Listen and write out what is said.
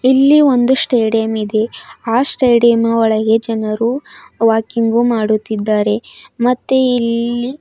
ಇಲ್ಲಿ ಒಂದು ಸ್ಟೇಡಿಯಂ ಇದೆ ಅ ಸ್ಟೇಡಿಯಂ ಮ ಒಳಗೆ ಜನರು ವಾಕಿಂಗು ಮಾಡುತ್ತಿದ್ದಾರೆ ಮತ್ತೆ ಇಲ್ಲಿ --